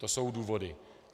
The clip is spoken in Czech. To jsou důvody.